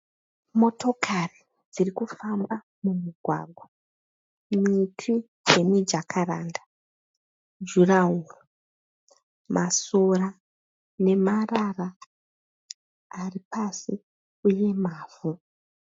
Motokari dziri kufamba mumugwagwa miti yemijakaranda juraworo masora memarara ari pasi uye mavhu.